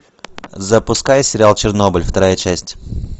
запускай сериал чернобыль вторая часть